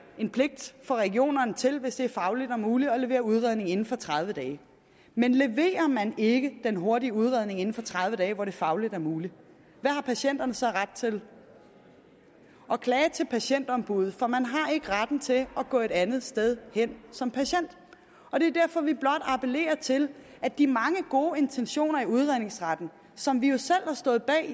en pligt for regionerne til hvis det er fagligt muligt at levere udredning inden for tredive dage men leverer man ikke den hurtige udredning inden for tredive dage hvor det er fagligt muligt hvad har patienterne så ret til at klage til patientombuddet for man har ikke retten til at gå et andet sted hen som patient og det er derfor vi blot appellerer til at de mange gode intentioner i udredningsretten som vi jo selv har stået bag